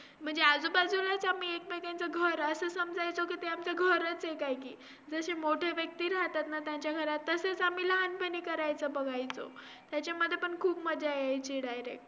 त्यांच्याबद्दल percentage करून किती people त्यांच्याशी agree disagree यांचा आम्हाला पूर्व level मध्ये